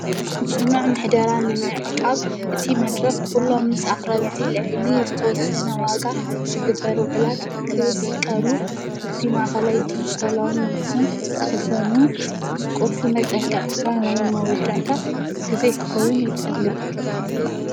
ፅኑዕ ምሕደራን እማዐቃብ እቲ መድረክ ኲሎም ምስ ኣኽረብቲ ልዕሊ ዝተወሰነ ዋጋ ሥግበሩ ዕላት ክስቀሉ ኣብቲ ማእኸላይ ዲጅተሎን ኣኽዝን ክኽዘኑን ምስ ቈድፊ መጠንቀቕታ ናይ መወዳእታ ጊዜ ክኸዉን ይጠልብ።